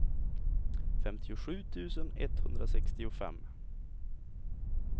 femtiosju tusen etthundrasextiofem